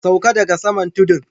Sauka daga saman tudun.